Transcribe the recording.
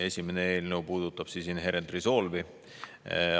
Esimene eelnõu puudutab Inherent Resolve'i.